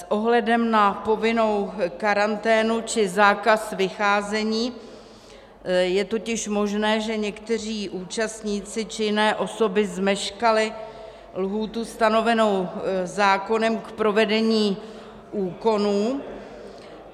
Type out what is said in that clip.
S ohledem na povinnou karanténu či zákaz vycházení je totiž možné, že někteří účastníci či jiné osoby zmeškali lhůtu stanovenou zákonem k provedení úkonů.